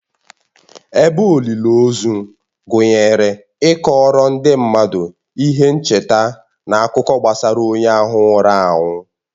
Ebe olili ozu gụnyere ịkọọrọ ndị mmadụ ihe ncheta na akụkọ gbasara onye ahụ nwụrụ anwụ.